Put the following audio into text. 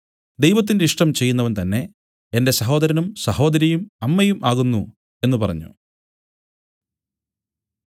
ദൈവത്തിന്റെ ഇഷ്ടം ചെയ്യുന്നവൻ തന്നേ എന്റെ സഹോദരനും സഹോദരിയും അമ്മയും ആകുന്നു എന്നു പറഞ്ഞു